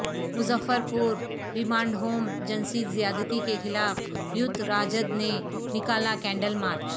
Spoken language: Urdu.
مظفرپور ریمانڈ ہوم جنسی زیادتی کے خلاف یوتھ راجد نے نکالا کینڈل مارچ